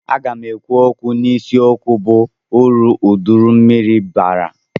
Aga m ekwu n'isi okwu bụ uru uduru mmiri bara.